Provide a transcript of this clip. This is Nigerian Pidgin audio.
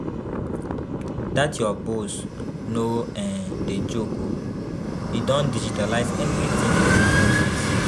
Dat your boss no um dey joke o, e don digitalise everything for una office